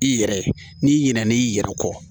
I yɛrɛ n'i ɲinɛnen i yɛrɛ kɔ